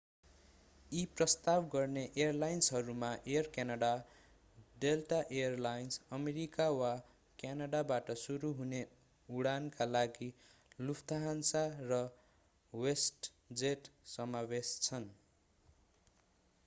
यी प्रस्ताव गर्ने एयरलाइन्सहरूमा Air Canada Delta Air Lines America वा क्यानडाबाट सुरु हुने उडानका लागि लुफ्थहान्सा र वेस्टजेट समावेश छन्